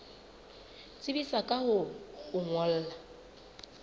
tsebisa ka ho o ngolla